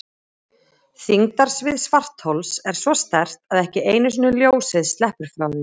Þyngdarsvið svarthols er svo sterkt að ekki einu sinni ljósið sleppur frá því.